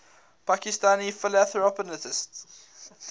pakistani philanthropists